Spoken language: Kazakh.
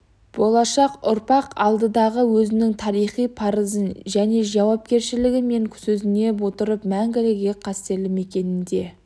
болашақ ұрпақ алдындағы өзінің тарихи парызы және жауапкершілігі деп сезіне отырып мәңгілік ел қастерлі мекенінде